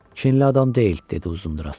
Kinli adam deyil, – dedi Uzunduraç.